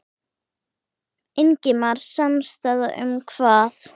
Ingimar: Samstaða um hvað?